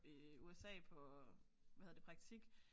I USA på hvad hedder det praktik